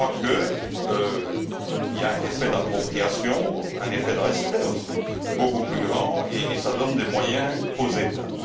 Je crois qu'il y a un effet d'appropriation, un effet de respect aussi, beaucoup plus grand, et cela donne des moyens aux États.